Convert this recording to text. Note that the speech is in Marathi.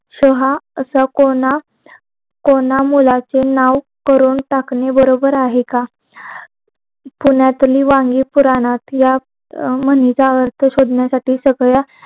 सोहा असं कोना मुलाचे नाव करून टाकणे बरोबर आहे का पुण्यातली वाणी पुरण्यात शोधण्यासाठी सगळ्या